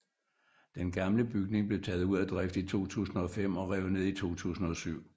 Den gamle bygning blev taget ud af drift i 2005 og revet ned i 2007